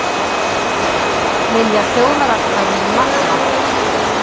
Vilja þjóðaratkvæði um Magma